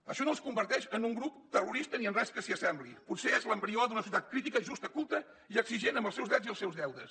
això no els converteix en un grup terrorista ni en res que s’hi assembli potser és l’embrió d’una societat crítica i justa culta i exigent amb els seus drets i els seus deures